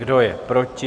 Kdo je proti?